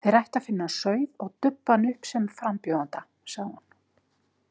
Þeir ættu að finna sauð og dubba hann upp sem frambjóðanda, segir hún.